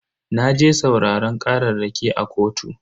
Naje sauraran kararraki a kotu.